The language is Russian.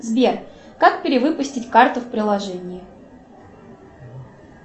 сбер как перевыпустить карту в приложении